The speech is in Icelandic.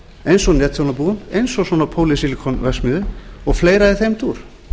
eins og netþjónabúum eins og svona pólýsílikonverksmiðjum og fleira í þeim dúr